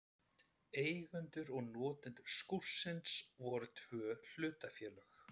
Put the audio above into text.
Eigendur og notendur skúrsins voru tvö hlutafélög.